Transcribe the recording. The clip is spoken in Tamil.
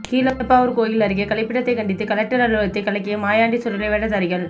கீழப்பாவூர் கோயில் அருகே கழிப்பிடத்தை கண்டித்து கலெக்டர் அலுவலகத்தை கலக்கிய மாயாண்டி சுடலை வேடதாரிகள்